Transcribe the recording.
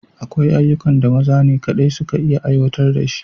Akwai ayyukan da maza ne kaɗai suka iya aiwatar da shi